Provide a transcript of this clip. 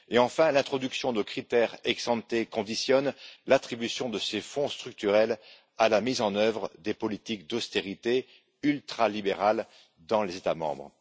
Enfin, l'introduction de critères ex ante conditionne l'attribution de ces fonds structurels à la mise en œuvre de politiques d'austérité ultralibérales dans les États membres.